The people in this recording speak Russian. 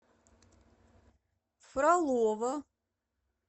фролово